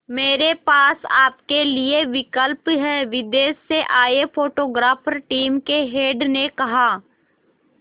मेरे पास आपके लिए विकल्प है विदेश से आए फोटोग्राफर टीम के हेड ने कहा